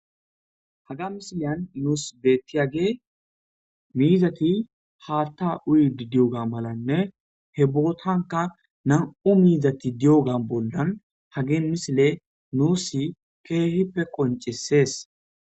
Ha misiliyan nus betiyagey, miizati haatha utidi diyoga malanne he botani nam'u mizati diyoga ha misiley nus loythi qoncises.